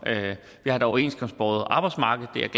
vi har et overenskomstbåret arbejdsmarked det er